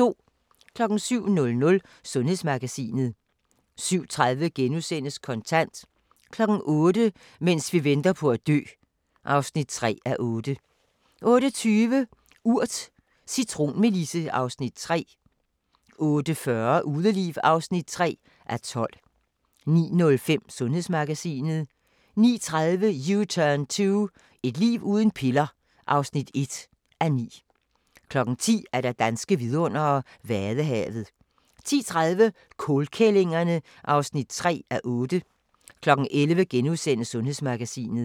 07:00: Sundhedsmagasinet 07:30: Kontant * 08:00: Mens vi venter på at dø (3:8) 08:20: Urt: Cintronmelisse (Afs. 3) 08:40: Udeliv (3:12) 09:05: Sundhedsmagasinet 09:30: U-turn 2 – et liv uden piller (1:9) 10:00: Danske vidundere: Vadehavet 10:30: Kålkællingerne (3:8) 11:00: Sundhedsmagasinet *